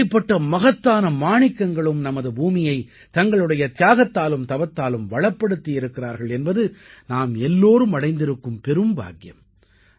இப்படிப்பட்ட மகத்தான மாணிக்கங்களும் நமது பூமியை தங்களுடைய தியாகத்தாலும் தவத்தாலும் வளப்படுத்தி இருக்கிறார்கள் என்பது நாம் எல்லோரும் அடைந்திருக்கும் பெரும் பாக்கியம்